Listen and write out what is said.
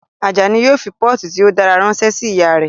Ajani yóò fi pọ́ọ̀tù tí ó dára ránṣẹ́ sí ìyá rẹ̀